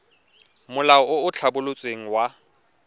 molao o o tlhabolotsweng wa